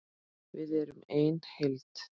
Við erum ein heild!